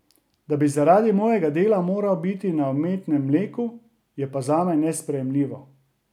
Da bi zaradi mojega dela moral biti na umetnem mleku, je pa zame nesprejemljivo.